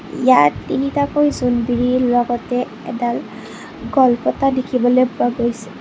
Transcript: ইয়াত তিনিটাকৈ জোনবিৰিৰ লগতে এডাল গলপতা দেখিবলৈ পোৱা গৈছে।